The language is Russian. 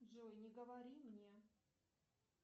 джой не говори мне